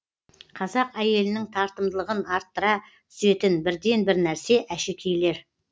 қазақ әйелінің тартымдылығын арттыра түсетін бірден бір нәрсе әшекейлер